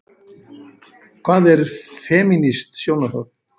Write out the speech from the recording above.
Hvað er femínískt sjónarhorn?